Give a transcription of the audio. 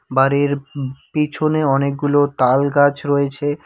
বাড়ির উব পিছনে অনেকগুলো তালগাছ রয়েছে।